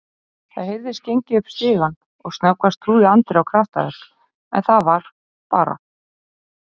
Það heyrðist gengið upp stigann og snöggvast trúði Andri á kraftaverk en það var bara